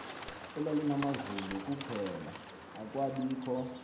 elalinamazulu kuphela akwabikho